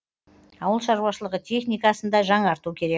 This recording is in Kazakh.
ауылшарушылығы техникасын да жаңарту керек